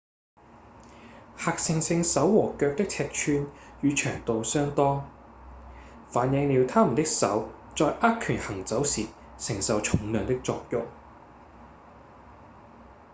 黑猩猩手和腳的尺寸與長度相當反映了牠們的手在握拳行走時承受重量的作用